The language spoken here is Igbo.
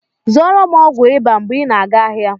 Zụọrọ m ọgwụ ịba mgbe ị na-aga ahịa!